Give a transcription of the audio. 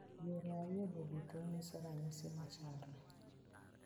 Yore ariyogo duto nyiso ranyisi machalre.